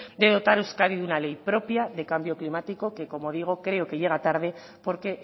de dotar euskadi de una ley propia de cambio climático que como digo creo que llega tarde porque